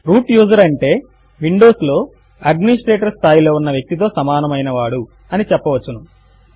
route user అంటే Windows లో administrator స్థాయిలో ఉన్న వ్యక్తి తో సమానము అయిన వాడు అని చెప్పవచ్చును